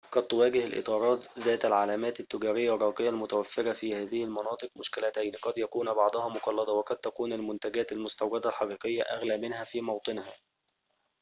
قد تواجه الإطارات ذات العلامات التجارية الراقية المتوفرة في هذه المناطق مشكلتين قد يكون بعضها مقلدة وقد تكون المنتجات المستوردة الحقيقية أغلى منها في موطنها